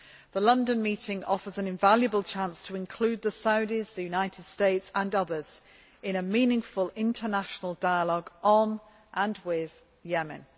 The London meeting offers an invaluable chance to include the Saudis, the United States and others in a meaningful international dialogue on, and with, Yemen.